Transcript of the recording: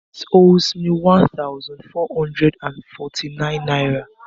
Idris owes me one thousand four hundred and forty-nine Naira